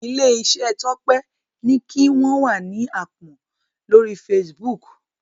ilé iṣé Tope ní kí wón wá ní àpón lórí Facebook.